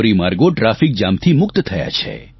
ધોરીમાર્ગો ટ્રાફિક જામથી મુક્ત થયા છે